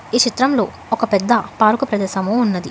ఈ చిత్రం లో ఒక పేద్ద పార్క్ ప్రదేశం ఉన్నది.